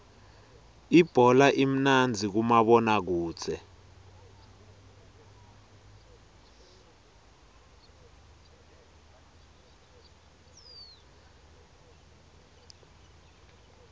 ibhola imnandzi kumabona kudze